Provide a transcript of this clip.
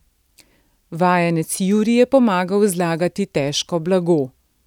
Vajenec Juri je pomagal zlagati težko blago.